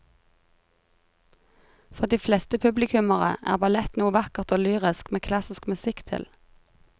For de fleste publikummere er ballett noe vakkert og lyrisk med klassisk musikk til.